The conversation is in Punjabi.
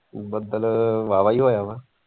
ਬਦਲ ਵਾਹਵਾ ਹੀ ਹੋਇਆ ਵਾ।